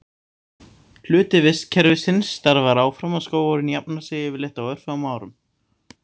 Hluti vistkerfisins starfar áfram og skógurinn jafnar sig yfirleitt á örfáum árum.